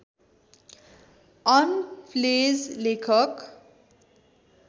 on प्लेज लेखक